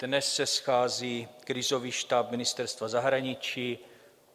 Dnes se schází krizový štáb Ministerstva zahraničí.